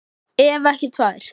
Ef ekki tvær.